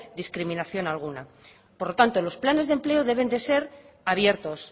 discriminación alguna por lo tanto los planes de empleo deben de ser abiertos